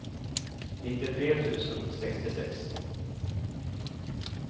nittiotre tusen sextiosex